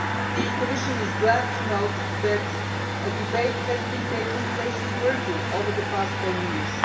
The Commission is glad to note that a debate has been taking place in Turkey over the past ten years.